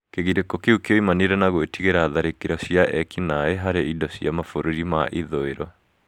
Kĩgirĩko kĩu kĩoimanire na gwĩtigĩra tharĩkĩro cia ekinai harĩ indo cia mabũrũri ma ithũĩro.